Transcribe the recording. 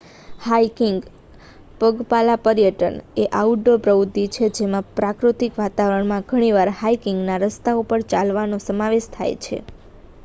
hiking પગપાલા પર્યટન એ આઉટડોર પ્રવૃત્તિ છે જેમાં પ્રાકૃતિક વાતાવરણમાં ઘણીવાર હાઇકિંગના રસ્તાઓ પર ચાલવાનો સમાવેશ થાય છે